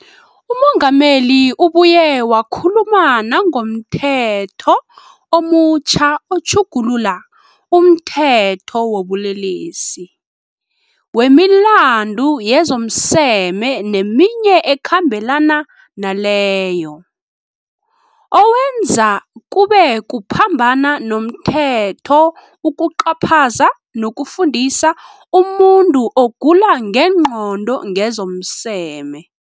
UMengameli ubuye wakhuluma nangomThetho omutjha oTjhugulula umThetho wobuLelesi, wemiLandu yezomSeme neminye eKhambelana naleyo, owenza kube kuphambana nomthetho ukucaphaza nokufundisa umuntu ogula ngengqondo ngezomseme.